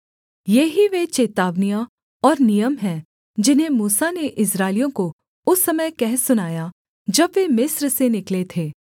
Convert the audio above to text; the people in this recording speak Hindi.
ये ही वे चेतावनियाँ और नियम हैं जिन्हें मूसा ने इस्राएलियों को उस समय कह सुनाया जब वे मिस्र से निकले थे